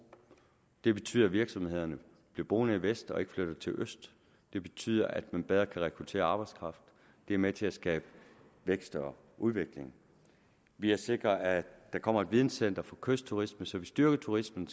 det betyder at virksomhederne bliver boende i vest og ikke flytter til øst det betyder at man bedre kan rekruttere arbejdskraft det er med til at skabe vækst og udvikling vi har sikret at der kommer et videncenter for kystturisme så vi styrker turismen